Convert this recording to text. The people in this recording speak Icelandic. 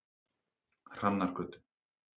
Hrannargötu